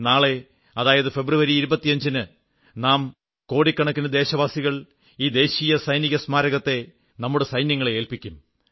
നാളെ അതായത് ഫെബ്രുവരി 25 ന് നാം കോടിക്കണക്കിന് ദേശവാസികൾ ഈ ദേശീയ സൈനിക സ്മാരകത്തെ നമ്മുടെ സൈന്യങ്ങളെ ഏൽപ്പിക്കും